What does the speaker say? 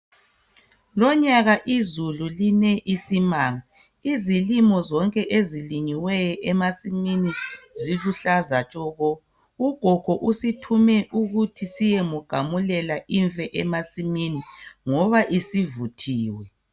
Lonyaka izulu line isimanga. Izilimo zonke ezilinyiweyo ziluhlaza tshoko. Ugogo usithume ukuthi siyemgamulela imfe ngoba sivuthiwe.